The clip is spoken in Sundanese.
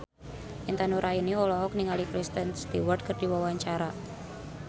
Intan Nuraini olohok ningali Kristen Stewart keur diwawancara